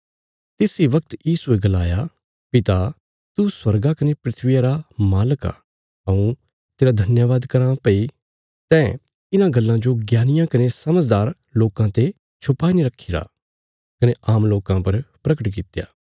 तिस इ वगत यीशुये गलाया पिता तू स्वर्गा कने धरतिया रा मालक आ हऊँ तेरा धन्यवाद कराँ भई तैं इन्हां गल्लां जो ज्ञानियां कने समझदार लोकां ते छुपाई ने रखीरा कने आम लोकां पर प्रगट कित्या